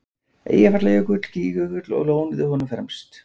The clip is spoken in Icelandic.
Eyjafjallajökull, Gígjökull og lónið úr honum fremst.